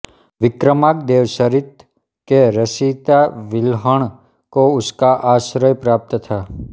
विक्रमांकदेवचरित के रचयिता विल्हण को उसका आश्रय प्राप्त था